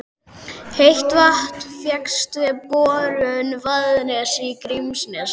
Heitt vatn fékkst við borun í Vaðnesi í Grímsnesi.